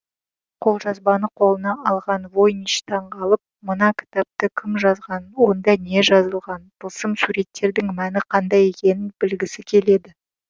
қолжазбаны қолына алған войнич таңғалып мына кітапты кім жазғанын онда не жазылғанын тылсым суреттердің мәні қандай екенін білгісі келеді